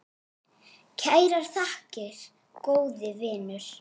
Kærar þakkir, góði vinur.